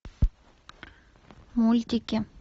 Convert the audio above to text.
мультики